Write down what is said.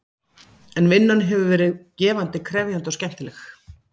En vinnan hefur verið gefandi, krefjandi og skemmtileg.